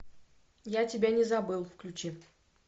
я тебя не забыл включи